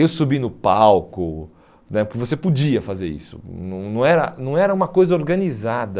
Eu subi no palco né, porque você podia fazer isso, não não era não era uma coisa organizada.